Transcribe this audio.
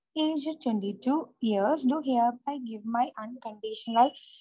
age twenty two years to hereby give my unconditional